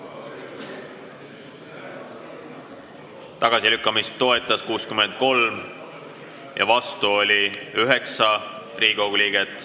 Hääletustulemused Tagasilükkamist toetas 63 ja selle vastu oli 9 Riigikogu liiget.